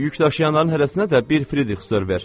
Yükdaşıyanların hərəsinə də bir frixdır ver.